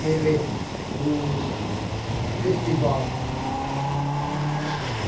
Teve um festival.